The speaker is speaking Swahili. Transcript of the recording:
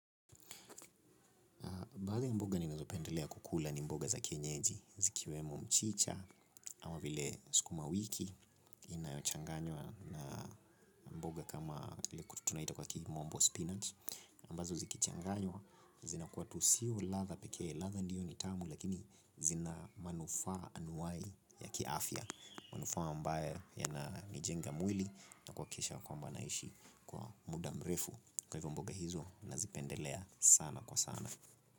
Badhi ya mboga ninazopendelea kukula ni mboga za kienyeji. Zikiwemo mchicha. Awa vile sikuma wiki. Inayochanganywa na mboga kama ile tunaita kwa kimombo spinach. Ambazo zikichanganywa. Zina kua tu siyo latha peke. Latha ndiyo ni tamu. Lakini zina manufaa anuai ya kiafya. Manufaa ambae yananijenga mwili. Na kwakisha kwamba naishi kwa muda mrefu. Kwa hivyo mboga hizo nazipendelea sana kwa sana.